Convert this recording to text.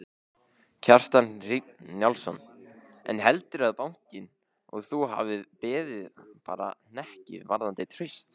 Kjartan Hreinn Njálsson: En heldurðu að bankinn og þú hafi beðið bara hnekki varðandi traust?